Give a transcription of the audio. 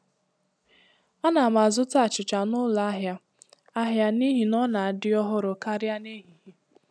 Ana m azụta achịcha n'ụlọ ahịa ahịa n'ihi na ọ na-adị ọhụrụ karịa n'ehihie.